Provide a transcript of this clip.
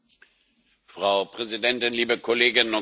Frau Präsidentin, liebe Kolleginnen und Kollegen!